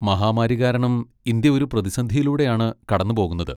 മഹാമാരി കാരണം ഇന്ത്യ ഒരു പ്രതിസന്ധിയിലൂടെ ആണ് കടന്നുപോകുന്നത്.